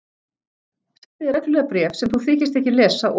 Sendi þér reglulega bréf sem þú þykist ekki lesa og.